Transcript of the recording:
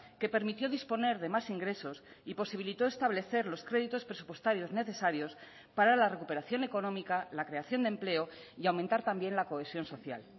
que permitió disponer de más ingresos y posibilitó establecer los créditos presupuestarios necesarios para la recuperación económica la creación de empleo y aumentar también la cohesión social